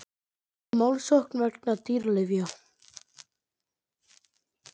Hóta málssókn vegna dýralyfja